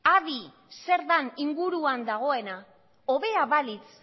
adi zer dan inguruan dagoena hobea balitz